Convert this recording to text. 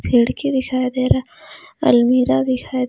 खिड़की दिखाई दे रहा अलमीरा भी दिखाई दे--